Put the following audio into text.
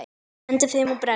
Hendi þeim og brenni.